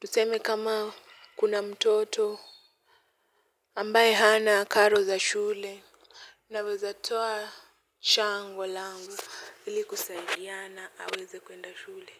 tuseme kama kuna mtoto ambaye hana karo za shule, naweza toa chango langu ili kusaidiana aweze kwenda shule.